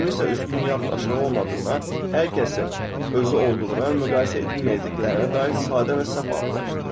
Kiminsə üstün yaxud aşağı olmadığına, hər kəsin özü olduğuna, müqayisə edilməyəcəklərinə dair sadə və səhv anlayışdır.